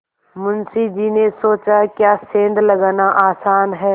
मुंशी जी ने सोचाक्या सेंध लगाना आसान है